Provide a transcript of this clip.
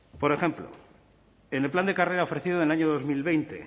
por ejemplo en el plan de carrera ofreciendo en el año dos mil veinte